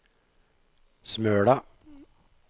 Smøla